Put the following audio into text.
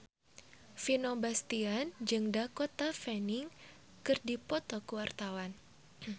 Vino Bastian jeung Dakota Fanning keur dipoto ku wartawan